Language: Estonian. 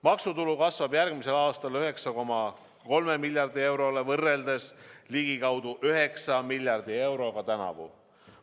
Maksutulu kasvab järgmisel aastal 9,3 miljardi euroni, seda võrreldes ligikaudu 9 miljardi euroga tänavu.